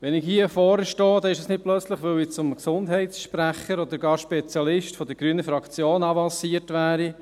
Wenn ich hier vorne stehe, ist es nicht, weil ich plötzlich zum Gesundheitssprecher oder gar Spezialisten der grünen Fraktion avanciert wäre.